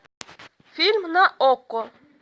фильм на окко